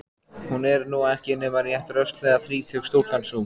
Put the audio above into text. Hún er nú ekki nema rétt rösklega þrítug stúlkan sú.